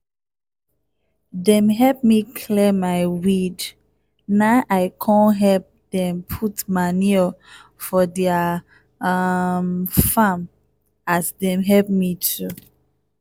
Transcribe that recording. dem help me clear my weed na i come help dem put manure for their um farm as dem help me too